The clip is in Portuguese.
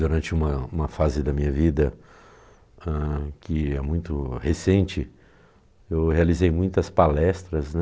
Durante uma uma fase da minha vida, hã, que é muito recente, eu realizei muitas palestras, né?